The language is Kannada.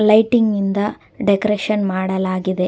ಲೈಟಿಂಗ್ ಇಂದ ಡೆಕೋರೇಷನ್ ಮಾಡಲಾಗಿದೆ.